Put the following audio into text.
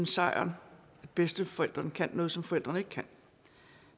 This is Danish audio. sejren at bedsteforældrene kan noget som forældrene ikke kan